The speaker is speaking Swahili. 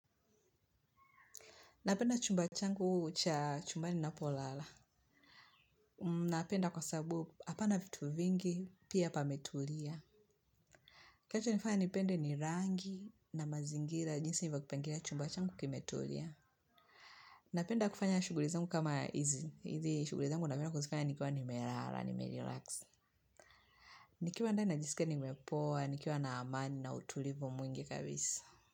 Napenda chumba changu cha chumbani napolala. Napenda kwa sabu apana vitu vingi, pia pametulia. Kinacho nifanya nipende ni rangi na mazingira, jinsi nivo kupengila chumbachangu kimetulia. Napenda kufanya shuguli zangu kama hizi. Hizi shuguli zangu na vina kuzifanya nikuwa nimera, nimerilax. Nikiwa ndani na jisikia nimepoa, nikwa na amani na utulivu mwingi kabisa.